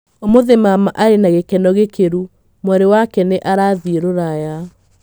Ũmũthi mama arĩ na gĩkeno gĩkĩru, mwarĩ wake nĩ arathie rũraya.